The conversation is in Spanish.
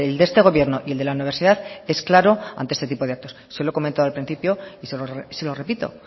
de este gobierno y el de la universidad es claro ante este tipo de actos se lo he comentado al principio y se lo repito